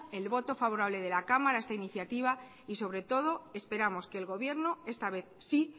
el voto favorable de la cámara a esta iniciativa y sobre todo esperamos que el gobierno esta vez sí